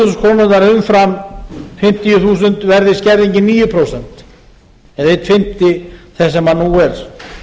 þúsund krónurnar umfram fimmtíu þúsund verði skerðingin níu prósent eða einn fimmti þess sem nú er